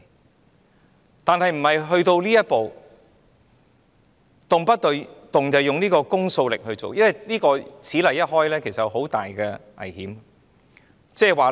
可是，這並不表示要走到這一步，動輒運用公訴力來處理，因為此例一開，即有很大的危險。